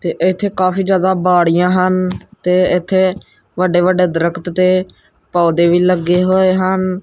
ਤੇ ਇਥੇ ਕਾਫੀ ਜਿਆਦਾ ਬਾੜੀਆਂ ਹਨ ਤੇ ਇਥੇ ਵੱਡੇ ਵੱਡੇ ਦਰਖਤ ਤੇ ਪੌਦੇ ਵੀ ਲੱਗੇ ਹੋਏ ਹਨ।